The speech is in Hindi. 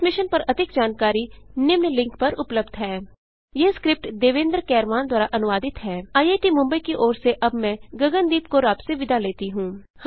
इस मिशन पर अधिक जानकारी निम्न लिंक पर उपलब्ध है httpspoken tutorialorgNMEICT Intro यह स्क्रिप्ट देवेन्द्र कैरवान द्वारा अनुवादित है आईआईटी मुंबई की ओर से अब मैंआपसे विदा लेती हूँ